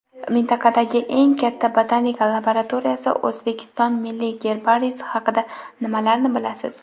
Mintaqadagi eng katta botanika laboratoriyasi – O‘zbekiston milliy gerbariysi haqida nimalarni bilasiz?.